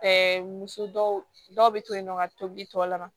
Ɛɛ muso dɔw be to yen nɔ ka tobili tɔ la